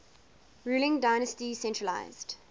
ruling dynasty centralised